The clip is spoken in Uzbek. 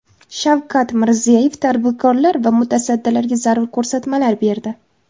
Shavkat Mirziyoyev tadbirkorlar va mutasaddilarga zarur ko‘rsatmalar berdi.